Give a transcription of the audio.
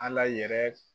Ala yɛrɛ